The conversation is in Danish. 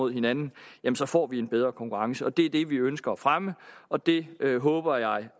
hinanden så får vi en bedre konkurrence og det er det vi ønsker at fremme og det håber jeg